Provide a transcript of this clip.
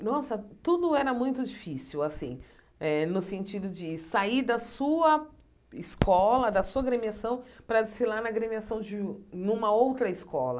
Nossa, tudo era muito difícil assim, no sentido de sair da sua escola, da sua gremiação, para desfilar na gremiação de numa outra escola.